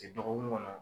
Ti dɔgɔkun kɔnɔ